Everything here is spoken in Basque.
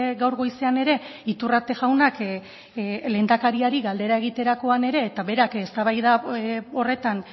gaur goizean ere iturrate jaunak lehendakariari galdera egiterakoan ere eta berak eztabaida horretan